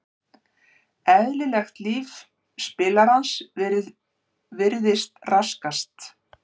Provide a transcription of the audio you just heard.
Eðlilegt líf spilarans virðist raskast.